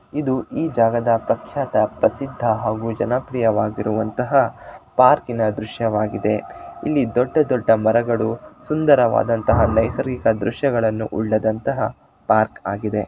ಇದು ಈ ಜಗದ ಪ್ರಖ್ಯಾತ ಪ್ರಸಿದ್ಧ ಹಾಗೂ ಜನಪ್ರಿಯವಾಗಿರುವಂತಹ ಪಾರ್ಕಿನ ದೃಶ್ಯವಾಗಿದೆ ಇಲ್ಲಿ ದೊಡ್ಡ ದೊಡ್ಡ ಮರಗಳು ಸುಂದರವಾದಂತಹ ನೈಸರ್ಗಿಕ ದೃಶ್ಯಗಳನ್ನು ಉಳ್ಳಂತಾಗಿದೆ ಪಾರ್ಕ್ ಆಗಿದೆ.